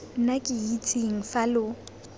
nna ke itseng fa lo